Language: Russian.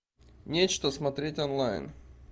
нечто смотреть онлайн